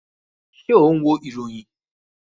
Ṣé o n wo ìròyìn?